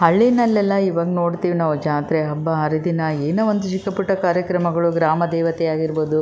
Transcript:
ಹಳ್ಳಿನಲ್ಲಿಎಲ್ಲ ಈವಾಗ್ ನೋಡ್ತಿವಿ ನಾವು ಜಾತ್ರೆ ಹಬ್ಬ ಹರಿದಿನ ಏನೋ ಒಂದು ಚಿಕ್ಕ ಪುಟ್ಟ ಕಾರ್ಯಕ್ರಮಗಳು ಗ್ರಾಮ ದೇವತೆ ಆಗಿರ್ಬಹುದು --